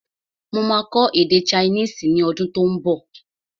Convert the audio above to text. Mo máa kọ́ èdè chinese ọdún tó ún bọ̀